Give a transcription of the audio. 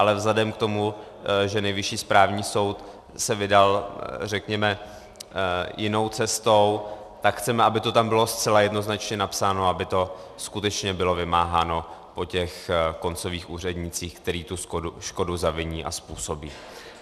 Ale vzhledem k tomu, že Nejvyšší správní soud se vydal, řekněme, jinou cestou, tak chceme, aby to tam bylo zcela jednoznačně napsáno, aby to skutečně bylo vymáháno po těch koncových úřednících, kteří tu škodu zaviní a způsobí.